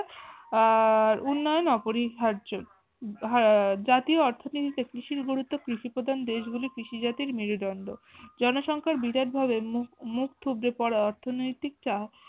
আহ উন্নয়ন অপরিহার্য হম জাতীয় অর্থনীতে কৃষির গুরুত্ব কৃষিপ্রধান দেশ গুলিতে কৃষি জাতির মেরুদণ্ড জনসংখ্যার বিরাট ভাবে মু মুখ থুবড়ে অর্থনৈতিক চা